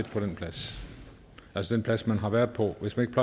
på den plads altså den plads man har været på hvis man